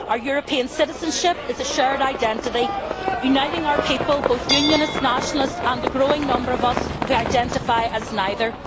Our European citizenship is a shared identity uniting our people, both unionist and nationalist and the growing number of us who identify as neither.